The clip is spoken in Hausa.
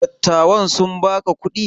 Dattawan sun baka kuɗi?